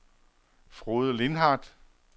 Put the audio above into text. Frode Lindhardt